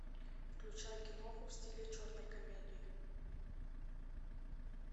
включай киноху в стиле черной комедии